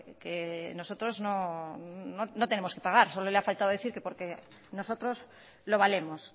que nosotros no tenemos que pagar solo le ha faltado decir que porque nosotros lo valemos